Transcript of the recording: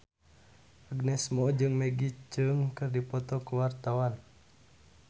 Agnes Mo jeung Maggie Cheung keur dipoto ku wartawan